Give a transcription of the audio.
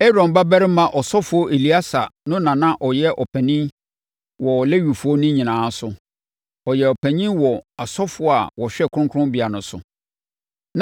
Aaron babarima ɔsɔfoɔ Eleasa no na na ɔyɛ ɔpanin wɔ Lewifoɔ no nyinaa so. Ɔyɛɛ no panin wɔ asɔfoɔ a wɔhwɛ kronkronbea no so.